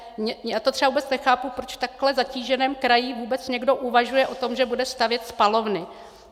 Já to třeba vůbec nechápu, proč v takhle zatíženém kraji vůbec někdo uvažuje o tom, že bude stavět spalovny.